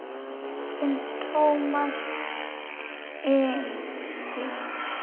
Þinn Tómas Ingi.